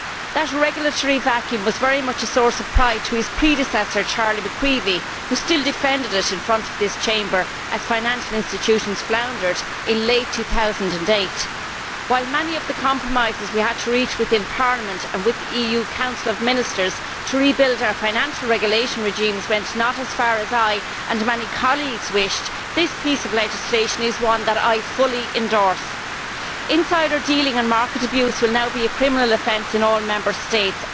That regulatory vacuum was very much a source of pride to his predecessor, Charlie McCreevy, who continued to defend it in front of this Chamber as financial institutions floundered in late 2008. While many of the compromises we had to reach within Parliament and with the EU Council of Ministers to rebuild our financial regulation regimes did not go as far as I, and many colleagues, wished, this piece of legislation is one that I fully endorse. Insider dealing and market abuse will now be a criminal offence in all Member States.